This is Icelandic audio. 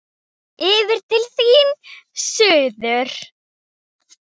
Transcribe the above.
Yfir til þín, suður.